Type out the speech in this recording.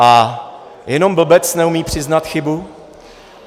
A jenom blbec neumí přiznat chybu.